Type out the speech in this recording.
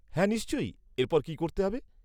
হ্যাঁ নিশ্চয়ই। এর পর কি করতে হবে?